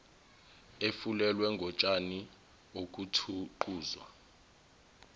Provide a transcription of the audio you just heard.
efulelwe ngotshani okuthuquzwa